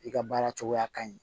I ka baara cogoya ka ɲi